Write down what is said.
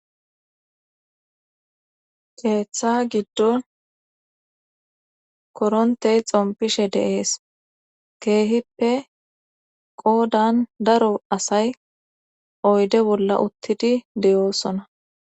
Keeththa giddon korontey xompishe de'ees keehippe qoodan daro asay oyde bolla uttidi de7oosona.